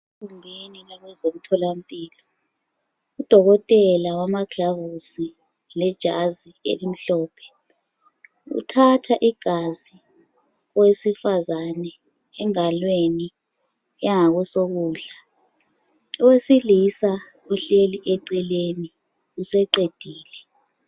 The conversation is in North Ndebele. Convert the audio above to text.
Kunengi kwabezomtholampilo udokotela wamaglavusi lejazi elimhlophe uthatha igazi owesifazane engalweni eyangosokudla. owesilisa uhlleli eceleni useqedile.